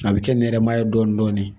A bɛ kɛ nɛrɛmugu ye dɔɔnin dɔɔnin